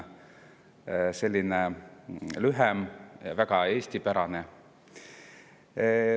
See on lühem ja väga eestipärane.